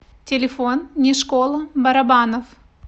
телефон не школа барабанов